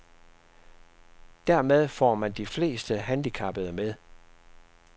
Dermed får man de fleste handicappede med.